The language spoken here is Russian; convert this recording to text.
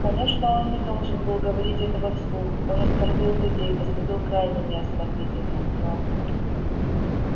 конечно он не должен был говорить этого вслух он оскорбил людей поступил крайне неосмотрительно но